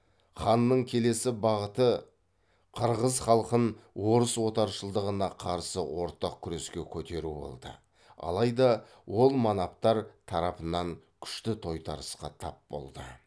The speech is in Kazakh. ханның келесі бағыты қырғыз халқын орыс отаршылдығына қарсы ортақ күреске көтеру болды алайда ол манаптар тарапынан күшті тойтарысқа тап болды